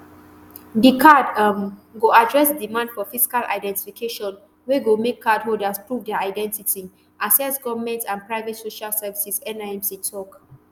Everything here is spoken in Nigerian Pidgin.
di card um go address di demand for physical identification wey go make cardholders prove dia identity access goment and private social services nimc tok